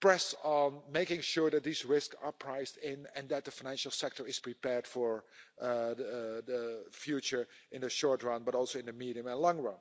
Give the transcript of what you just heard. press on, making sure that these risks are priced in, and that the financial sector is prepared for the future in the short run, but also in the medium and long run.